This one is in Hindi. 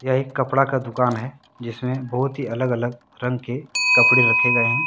एक कपड़ा का दुकान है जिसमें बहुत ही अलग अलग रंग के कपड़े रखे गए हैं।